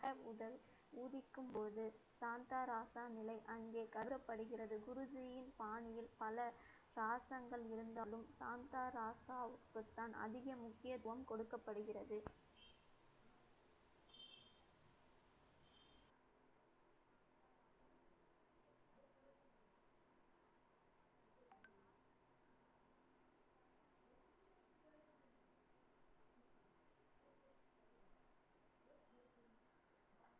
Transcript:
உதிக்கும் போது, சாந்தா, ராசா நிலை அங்கே கருதப்படுகிறது. குருஜியின் பாணியில், பல சாசங்கள் இருந்தாலும், தான் அதிக முக்கியத்துவம் கொடுக்கப்படுகிறது